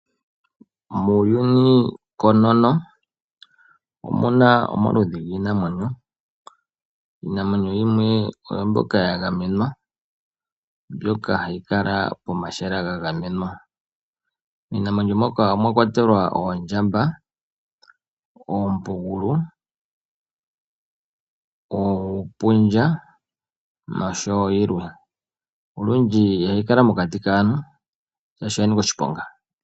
Muuyuni koonono omuna omaludhi giinamwenyo . Iinamwenyo yimwe oyo mbyoka yagamenwa , mbyoka hayi kala pomahala gagamenwa. Iinamwenyo mbyoka omwakwatelwa oondjamba , oompugulu , uupundja noshowoo yilwe. Nolundji ihayi kala mokati kaantu noshanika oshiponga.